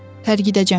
Tərgidəcəm.